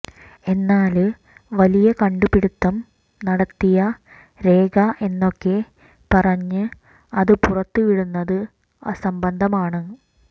എന്നാല് വലിയ കണ്ടുപിടുത്തം നടത്തിയ രേഖ എന്നൊക്കെ പറഞ്ഞ് അത് പുറത്തുവിടുന്നത് അസംബന്ധമാണ്